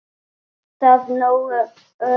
En er það nógu öruggt?